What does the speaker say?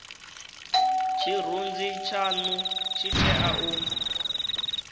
tshirunzi tshanu tshi tea u